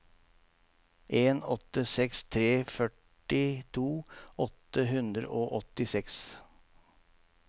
en åtte seks tre førtito åtte hundre og åttiseks